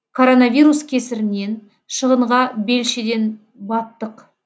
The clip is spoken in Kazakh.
коронавирус кесірінен шығынға белшеден баттық